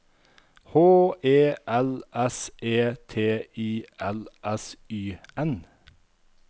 H E L S E T I L S Y N